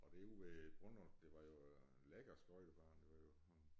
Og derude ved Brundlund det var jo lækker skøjtebane det var jo sådan